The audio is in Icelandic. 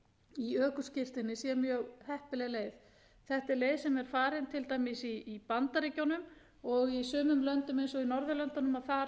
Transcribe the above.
í ökuskírteini sé mjög heppileg leið þetta er leið sem er farin til dæmis í bandaríkjunum og í sumum löndum eins og á norðurlöndunum er upplýsingarnar að